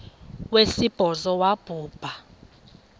wesibhozo wabhu bha